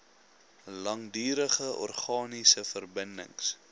langdurige organiese verbindings